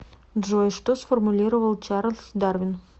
джой что сформулировал чарлз дарвин